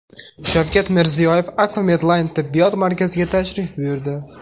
Shavkat Mirziyoyev Akfa Medline tibbiyot markaziga tashrif buyurdi.